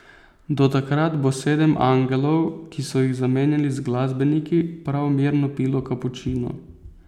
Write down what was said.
Do takrat bo sedem angelov, ki so jih zamenjali z glasbeniki, prav mirno pilo kapučino.